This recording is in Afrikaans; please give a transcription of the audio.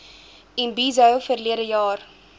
imbizo verlede jaar